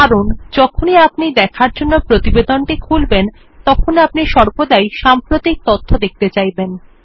কারণ যখনই আপনিদেখার জন্য প্রতিবেদনটি খুলবেন তখন আপনিসর্বদাই সাম্প্রতিকতথ্য দেখতে চাইবেন